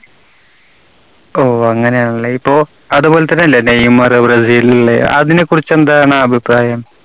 ഓ അങ്ങനെയാണല്ലേ. ഇപ്പോ അതുപോലെതന്നെയല്ലേ നെയ്‌മറ്, ബ്രസീലിലെ? അതിനെകുറിച്ചെന്താണ് അഭിപ്രായം?